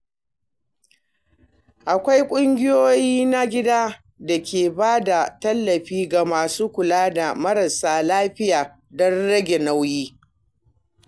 Akwai kungiyoyi na gida da ke ba da tallafi ga masu kula da marasa lafiya don rage nauyi.